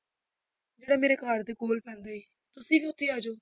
ਜਿਹੜਾ ਮੇਰੇ ਘਰ ਦੇ ਕੋਲ ਪੈਂਦਾ ਹੈ, ਤੁਸੀਂ ਵੀ ਉੱਥੇ ਹੀ ਆ ਜਾਓ।